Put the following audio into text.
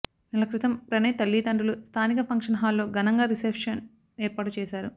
నెల క్రితం ప్రణయ్ తల్లిదండ్రులు స్థానిక ఫంక్షన్ హల్లో ఘనంగా రిసెఫ్షన్ ఏర్పాటు చేశారు